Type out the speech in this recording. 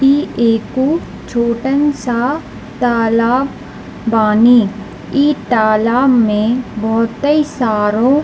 इ एगो छोटन सा तालाब बानी इ तालाब में बहुते सारों --